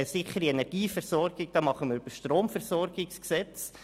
Eine sichere Energieversorgung machen wir über das Stromversorgungsgesetz.